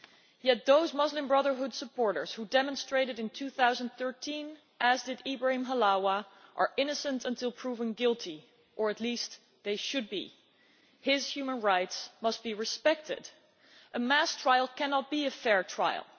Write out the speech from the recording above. Yet those Muslim Brotherhood supporters who demonstrated in 2013, as Ibrahim Halawa did, are innocent until proven guilty or at least they should be. His human rights must be respected. A mass trial cannot be a fair trial.